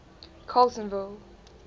carletonville